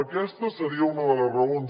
aquesta seria una de les raons